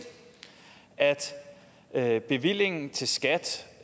at bevillingen til skat